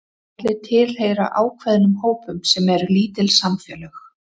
Allir tilheyra ákveðnum hópum sem eru lítil samfélög.